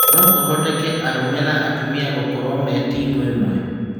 No kũhotekeke arũme na atumia gũkorwo me timu ĩmwe ?